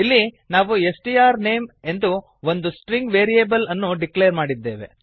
ಇಲ್ಲಿ ನಾವು S T R name ಎಂದು ಒಂದು ಸ್ಟ್ರಿಂಗ್ ವೇರಿಯೇಬಲ್ ಅನ್ನು ಡಿಕ್ಲೇರ್ ಮಾಡಿದ್ದೇವೆ